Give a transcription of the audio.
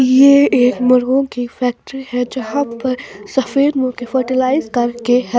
ये एक मुर्गों की फैक्ट्री है जहां पर सफेद मुर्गे फर्टिलाइज कर के हैं।